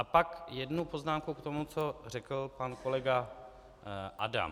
A pak jednu poznámku k tomu, co řekl pan kolega Adam.